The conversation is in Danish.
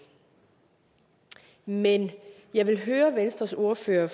men jeg vil høre venstres ordfører